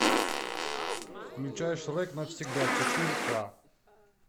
включай шрек навсегда четыре ка